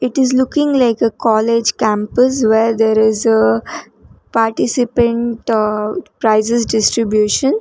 it is looking like a college campus where there is a participant prices distribution.